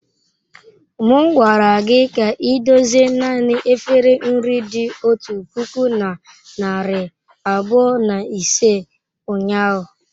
M gwara gị ka idozie naanị efere nri dị otu puku na narị abụọ na ise ụnyahụ.